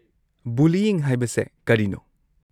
Bullying ꯍꯥꯏꯕꯁꯦ ꯀꯔꯤꯅꯣ?